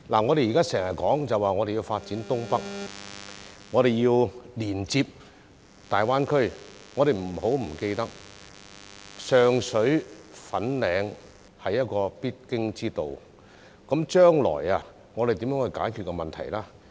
我們時常說要發展新界東北並連接大灣區，但不要忘記上水、粉嶺是必經之道，我們將來如何解決水浸問題呢？